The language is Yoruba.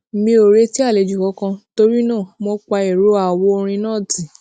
mi ò retí àlejò kankan torí náà mo pa ìró àwo orin náà tì